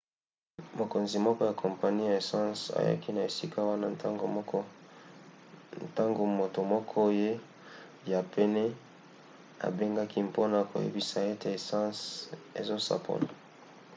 mokonzi moko ya kompani ya essence ayaki na esika wana ntango moto moko ya pene abengaki mpona koyebisa ete essence ezosopana